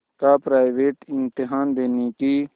का प्राइवेट इम्तहान देने की